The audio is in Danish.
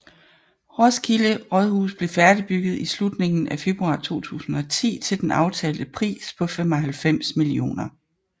Roskilde Rådhus blev færdigbygget i slutningen af februar 2010 til den aftalte pris på 95 mio